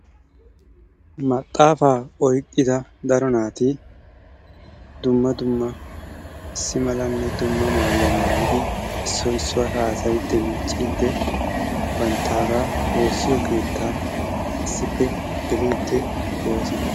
Maxaafaa oyqqida daro naati dumma dumma issi malanne dumma maayuwa maayidi issoy issuwara haasayiiddi miicciiddi banttaagaa woossiyo keettaa issippe geliiddi de'oosona.